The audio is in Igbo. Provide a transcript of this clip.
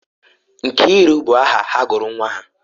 Nkiruka bụ aha ha gụrụ nwa ha.